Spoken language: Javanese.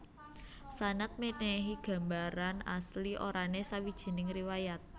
Sanad mènèhi gambaran asli orané sawijining riwayat